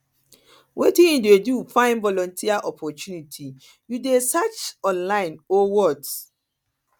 wetin you dey do to find volunteer opportunity you dey research online or what